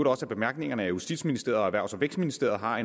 også af bemærkningerne at justitsministeriet og erhvervs og vækstministeriet har